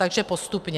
Takže postupně.